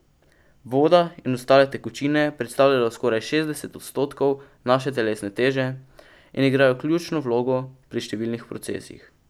Voda in ostale tekočine predstavljajo skoraj šestdeset odstotkov naše telesne teže in igrajo ključno vlogo pri številnih procesih.